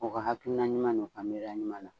U ka hakilina ɲuman n'u ka miiriya ɲuman na.